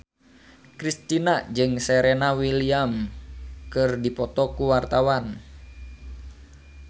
Kristina jeung Serena Williams keur dipoto ku wartawan